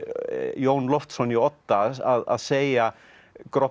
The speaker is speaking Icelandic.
Jón Loftsson í Odda að segja